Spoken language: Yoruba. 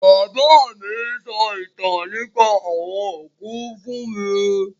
Bàbá mi sọ ìtàn nípa àwọn òkú fún mi